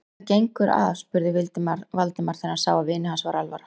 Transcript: Hvað gengur að? spurði Valdimar, þegar hann sá að vini hans var alvara.